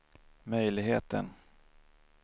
möjligheten